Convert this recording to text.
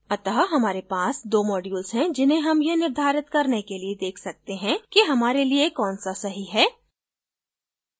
अत: हमारे पास 2 modules हैं जिन्हें हम यह निर्धारित करने के लिए देख सकते हैं कि हमारे लिए कौन so सही है